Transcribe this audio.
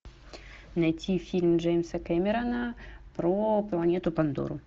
найти фильм джеймса кэмерона про планету пандору